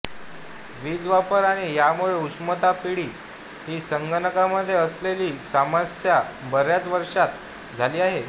वीज वापर आणि यामुळे उष्णता पिढी हि संगणकांमध्ये असलेली समस्या बऱ्याच वर्षांत झाली आहे